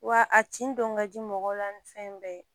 Wa a tin don ka di mɔgɔ la ni fɛn bɛɛ ye